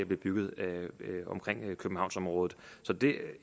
blive bygget i københavnsområdet